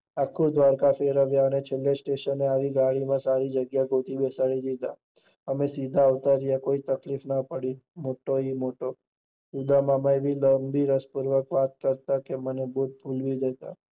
આખું દ્વારકા ફેરવ્યા અને છેલ્લે સ્ટેશને આવી ને ગાડી માનસરી જગ્યા ગોતી અને ઉપર આવી કોઈ તકલીફ ના પડી, મૉટે થી મોટો ઉદ્દમામાં રસ થી વાતો કરતા કે મને ખુબ મજા આવી.